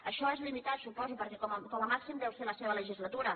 això és limitat suposo perquè com a màxim deu ser la seva legislatura